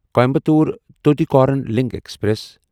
Coimbatore Tuticorin link express